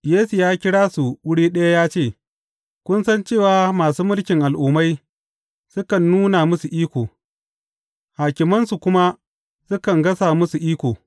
Yesu ya kira su wuri ɗaya ya ce, Kun san cewa masu mulkin Al’ummai sukan nuna musu iko, hakimansu kuma sukan gasa musu iko.